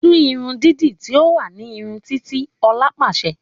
“Tú irun dídi tí ó wà ní ìrun Titi” Òla pàsẹ”